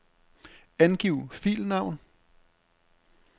Angiv filnavn.